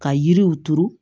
Ka yiriw turu